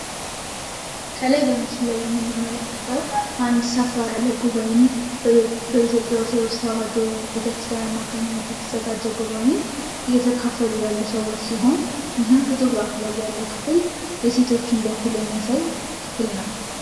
ከላይ በምስሉ ላይ የምንመለከተው አንድ ሰፈር ያለ ጉባኤን ወይም በኢትዮጵያ ኦርቶዶክስ ተዋሕዶ ቤተክርስቲያን አማካኝነት የተዘጋጀ ጉባኤን እየተካፈሉ ያሉ ሰዎች ሲሆን ይህም ፎቶግራፉ ላይ ያለው ምስል የሴቶችን በኩል የሚያሳይ ክፍል ነው።